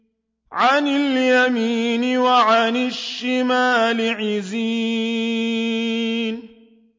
عَنِ الْيَمِينِ وَعَنِ الشِّمَالِ عِزِينَ